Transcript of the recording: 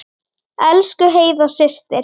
Elsku Heiða systir.